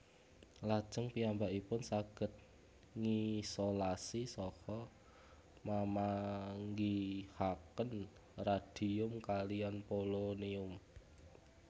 Lajeng piyambakipun saged ngisolasi saha mamanggihaken radium kaliyan polonium